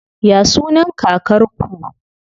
Ya sunan kakar ku?